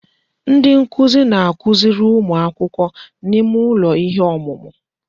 Ndi nkuzi na-akụziri ụmụ akwụkwọ n'ime ụlọ ihe ọmụmụ.